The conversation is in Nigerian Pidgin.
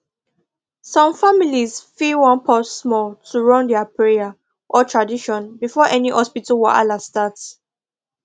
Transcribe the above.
some families fit wan pause small to run their prayer or tradition before any hospital wahala start